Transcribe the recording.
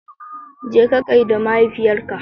Jeka gaida mahaifiyarka.